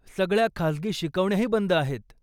सगळ्या खासगी शिकवण्याही बंद आहेत.